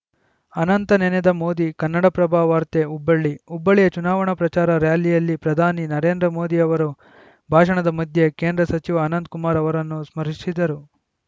ಅನಂತ ನೆನೆದ ಮೋದಿ ಕನ್ನಡಪ್ರಭ ವಾರ್ತೆ ಹುಬ್ಬಳ್ಳಿ ಹುಬ್ಬಳ್ಳಿಯ ಚುನಾವಣಾ ಪ್ರಚಾರ ರಾಲಿಯಲ್ಲಿ ಪ್ರಧಾನಿ ನರೇಂದ್ರ ಮೋದಿ ಅವರು ಭಾಷಣದ ಮಧ್ಯೆ ಕೇಂದ್ರ ಸಚಿವ ಅನಂತಕುಮಾರ್‌ ಅವರನ್ನು ಸ್ಮರಿಶಿದರು